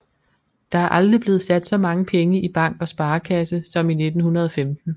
Der er aldrig blevet sat så mange penge i bank og sparekasse som i 1915